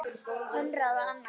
Konráð og Anna.